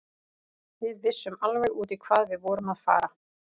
Við vissum alveg út í hvað við vorum að fara.